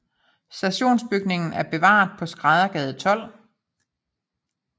Stationsbygningen er bevaret på Skræddergade 12